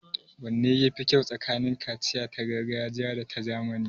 Wanne ya fi kyau tsakanin kaciya ta gargajiya da ta zamani?